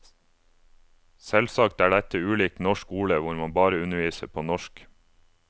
Selvsagt er dette ulikt norsk skole, hvor man bare underviser på norsk.